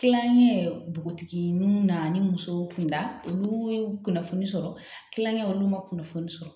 Kilankɛ bɔgɔtigi nun na ni muso kunda olu ye kunnafoni sɔrɔ kilonkɛw olu ma kunnafoni sɔrɔ